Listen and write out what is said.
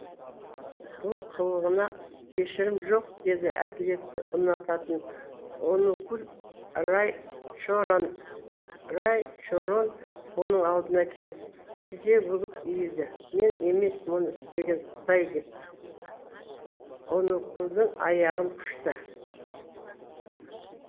бұл қылығына кешірім жоқ деді әділетті ұнататын онукул райчорон оның алдына келіп тізе бүгіп иілді мен емес мұны істеген құдай деп онукулдың аяғын құшты